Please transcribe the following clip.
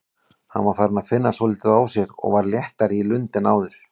Hann var farinn að finna svolítið á sér og var léttari í lund en áður.